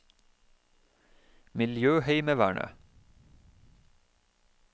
miljøheimevernet